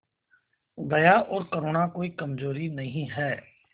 दया और करुणा कोई कमजोरी नहीं है